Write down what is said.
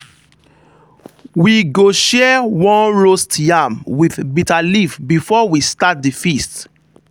we go share one roast yam with bitter leaf before we start the feast.